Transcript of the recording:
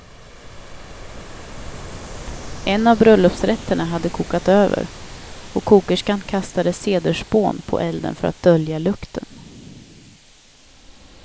En av bröllopsrätterna hade kokat över, och kokerskan kastade cederspån på elden för att dölja lukten.